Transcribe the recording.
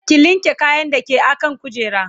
ki linke kayan da ke akan kujera